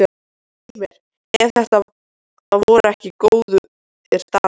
Svei mér ef þetta voru ekki góðir dagar.